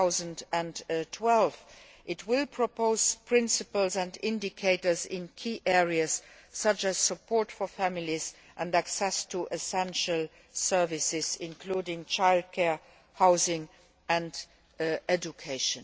2012. It will propose principles and indicators in key areas such as support for families and access to essential services including child care, housing and education.